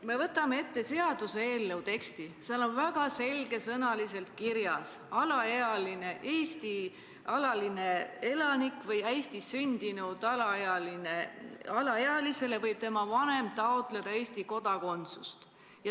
Me võtame ette seaduseelnõu teksti, seal on väga selge sõnaga kirjas: alaealisele Eesti alalisele elanikule või Eestis sündinud alaealisele võib tema vanem taotleda Eesti kodakondsust.